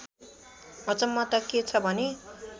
अचम्म त के छ भने